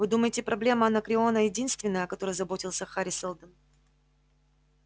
вы думаете проблема анакреона единственная о которой заботился хари сэлдон